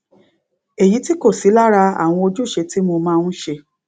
èyí tí kò sí lára àwọn ojúṣe tí mo máa n ṣe